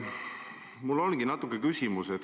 Mul ongi selline küsimus.